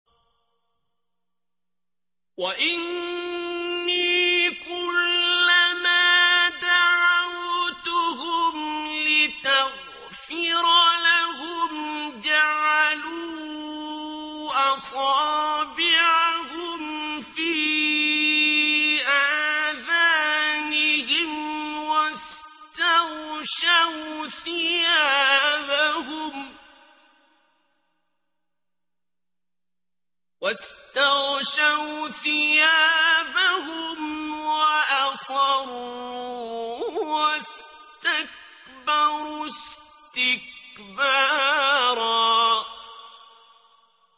وَإِنِّي كُلَّمَا دَعَوْتُهُمْ لِتَغْفِرَ لَهُمْ جَعَلُوا أَصَابِعَهُمْ فِي آذَانِهِمْ وَاسْتَغْشَوْا ثِيَابَهُمْ وَأَصَرُّوا وَاسْتَكْبَرُوا اسْتِكْبَارًا